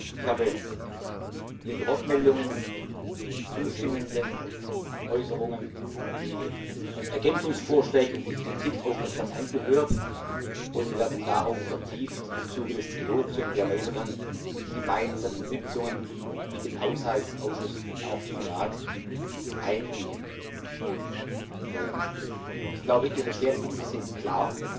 Ich habe Ihre Wortmeldungen, die zustimmenden Äußerungen, die Ergänzungsvorschläge und die Kritik aufmerksam angehört, und wir werden darauf im Zuge des Trilogs und der weiteren gemeinsamen Sitzungen mit dem Haushaltsausschuss und auch dem Rat vertieft eingehen. Ich glaube, Ihre Schwerpunkte sind klar,